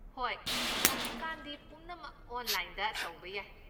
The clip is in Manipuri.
ꯍꯣꯏ! ꯍꯧꯖꯤꯛꯀꯥꯟꯗꯤ ꯄꯨꯝꯅꯃꯛ ꯑꯣꯟꯂꯥꯏꯟꯗ ꯇꯧꯕ ꯌꯥꯏ꯫